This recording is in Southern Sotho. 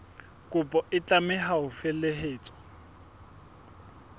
kopo e tlameha ho felehetswa